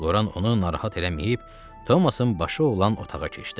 Loran onu narahat eləməyib, Tomasın başı olan otağa keçdi.